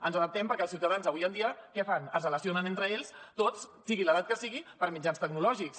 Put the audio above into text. ens adaptem perquè els ciutadans avui dia què fan es relacionen entre ells tots sigui l’edat que sigui per mitjans tecnològics